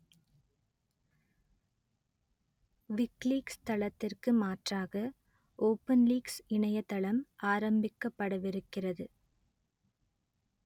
WikiLeaks தளத்திற்கு மாற்றாக OpenLeaks இணையதளம் ஆரம்பிக்கப்படவிருக்கிறது